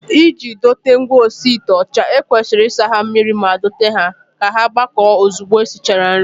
Iji dote ngwaosiite ọcha, e kwesịrị isa ha mmiri ma dote ha ka ha gbakọọ ozugbo e sichara nri